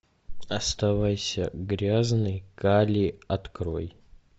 оставайся грязной кали открой